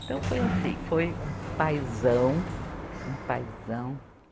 Então, foi assim, foi um paizão, um paizão.